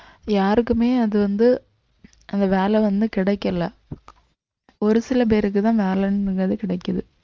யாருக்குமே அது வந்து அந்த வேலை வந்து கிடைக்கல ஒரு சில பேருக்குதான் வேலைன்றது கிடைக்குது